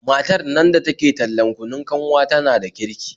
Matar nan da ke tallan kunun kanwa tana da kirki